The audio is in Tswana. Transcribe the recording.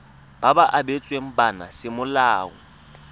ba ba abetsweng bana semolao